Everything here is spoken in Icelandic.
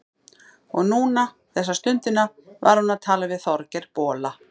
Og núna, þessa stundina, var hún að tala við Þorgeir bola.